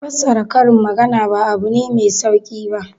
Fassara karin magana ba abu ne mai sauki ba.